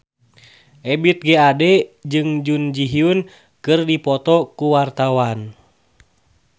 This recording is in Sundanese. Ebith G. Ade jeung Jun Ji Hyun keur dipoto ku wartawan